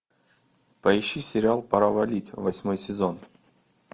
поищи сериал пора валить восьмой сезон